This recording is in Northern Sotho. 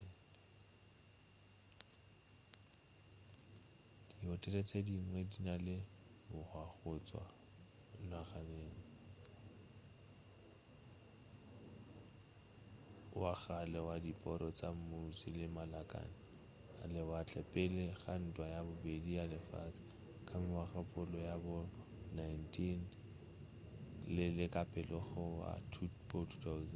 dihotele tše dingwe di na le bohwa go tšwa ngwageng wa kgale wa diporo tša muši le malakane a lewatle pele ga ntwa ya bobedi ya lefase ka mengwagakgolo ya bo 19 le ka pela go wa bo 20